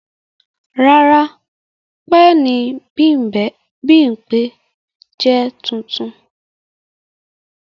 Rara, pẹẹni Bimpe jẹ tuntun